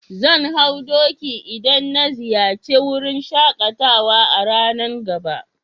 Zan hau doki idan na ziyace wurin shakatawa a'ranan gaba.